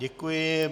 Děkuji.